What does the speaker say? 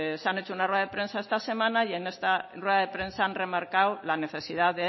han hecho una rueda de prensa esta semana y en esta rueda de prensa han remarcado la necesidad de